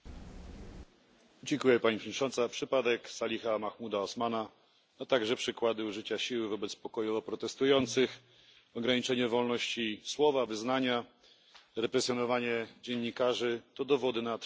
Przypadek Saliha Mahmouda Osmana, a także przykłady użycia siły wobec osób pokojowo protestujących, ograniczenie wolności słowa i wyznania czy represjonowanie dziennikarzy to dowody na trwający kryzys rządów prawa w Sudanie.